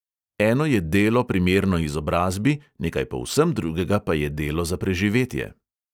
Eno je delo, primerno izobrazbi, nekaj povsem drugega pa je delo za preživetje.